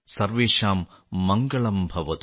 സർവേഷാം മംഗളം ഭവതു